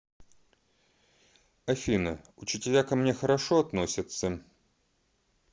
афина учителя ко мне хорошо относятся